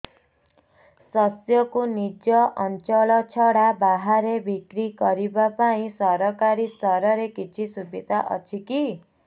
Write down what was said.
ଶସ୍ୟକୁ ନିଜ ଅଞ୍ଚଳ ଛଡା ବାହାରେ ବିକ୍ରି କରିବା ପାଇଁ ସରକାରୀ ସ୍ତରରେ କିଛି ସୁବିଧା ଅଛି କି